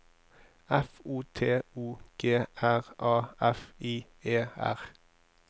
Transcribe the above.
F O T O G R A F I E R